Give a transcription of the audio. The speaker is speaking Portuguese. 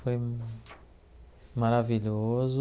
Foi maravilhoso.